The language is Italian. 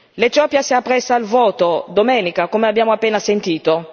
L'Etiopia si appresta al voto domenica, come abbiamo appena sentito.